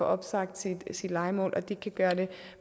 opsagt sit lejemål det kan gøre det